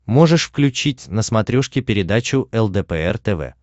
можешь включить на смотрешке передачу лдпр тв